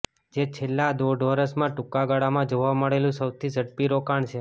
જે છેલ્લા દોઢ વર્ષમાં ટૂંકાગાળામાં જોવા મળેલું સૌથી ઝડપી રોકાણ છે